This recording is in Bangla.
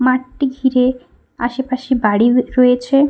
মাঠটি ঘিরে আশেপাশে বাড়ি র-এ-য়েছে।